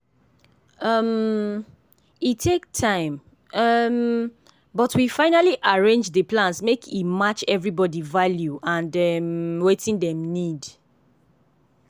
um e take time um but we finally arrange dey plans make e match everybody value and um wetin dem need.